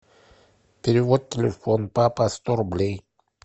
перевод телефон папа сто рублей